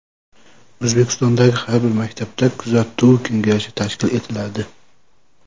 O‘zbekistondagi har bir maktabda kuzatuv kengashi tashkil etiladi.